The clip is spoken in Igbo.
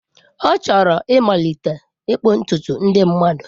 Ọ chọrọ ịmalite ịkpụ ntutu ndị mmadụ.